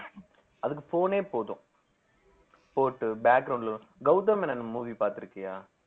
அதுக்கு phone ஏ போதும் போட்டு ல கௌதம் மேனன் movie பாத்திருக்கியா